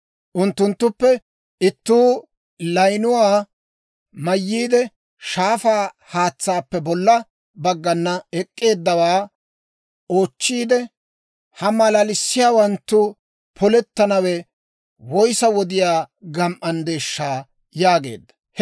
Unttunttuppe ittuu layinuwaa mayyiide, shaafaa haatsaappe bolla baggana ek'k'eeddawaa oochchiidde, «Ha malalissiyaawanttu polettanaw woyssa wodiyaa gam"anddeeshsha?» yaageedda.